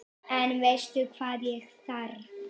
En veistu hvað ég þarf.